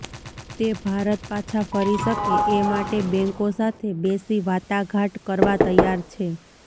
તે ભારત પાછા ફરી શકે એ માટે બેન્કો સાથે બેસી વાટાઘાટ કરવા તૈયાર છે